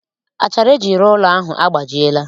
Achara eji rụọ ụlọ ahụ agbajiela